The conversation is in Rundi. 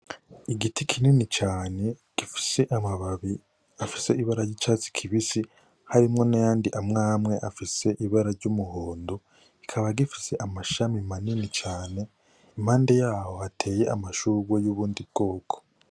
Igiti kinini cane kirimwo gifise amababi afise ibara yicatsi kibisi harimwo nayandi amwamwe afise ibara ryumuhondo ikaba ifise amashami manini cane impande yaho hatewe amashurwe yuyundi bwoko.